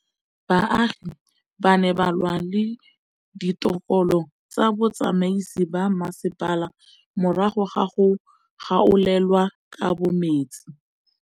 Baagi ba ne ba lwa le ditokolo tsa botsamaisi ba mmasepala morago ga go gaolelwa kabo metsi